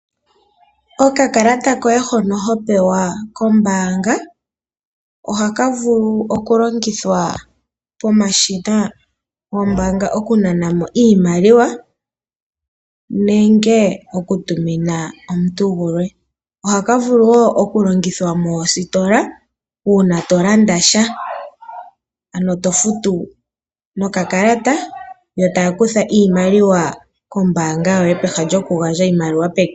Okakalata koye hono ho pewa kombaanga, oha ka vulu okulongithwa pomashina gombaanga okunana mo iimaliwa, nenge oku tumina omuntu gulwe. Ohaka vulu wo okulongithwa moositola, uuna tolanda sha. Ano tofutu nokakalata, yo taa kutha iimaliwa kombaanga yoye peha lyokugandja iimaliwa peke.